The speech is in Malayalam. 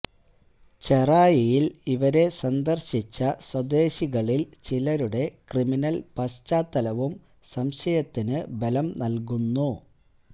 ചെറായിയിൽ ഇവരെ സന്ദർശിച്ച സ്വദേശികളിൽ ചിലരുടെ ക്രിമിനൽ പാശ്ചാത്തലവും സംശയത്തിനു ബലം നൽകുന്നു